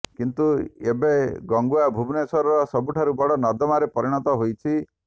କିନ୍ତୁ ଏବେ ଗଙ୍ଗୁଆ ଭୁବନେଶ୍ୱରର ସବୁଠାରୁ ବଡ଼ ନର୍ଦ୍ଦମାରେ ପରିଣତ ହୋଇଛି